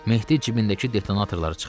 Mehdi cibindəki detonatorları çıxartdı.